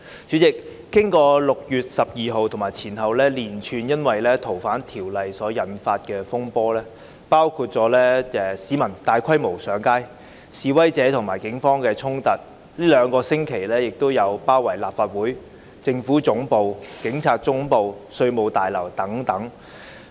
主席，經過6月12日及前後因《逃犯條例》而引發的連串風波，包括市民大規模上街、示威者與警方的衝突，最近兩星期亦發生了包圍立法會、政府總部、警察總部和稅務大樓等的行動。